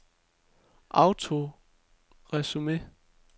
autoresume